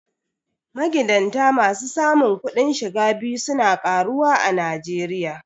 Magidanta masu samun kudin shiga biyu su na karuwa a Najeriya.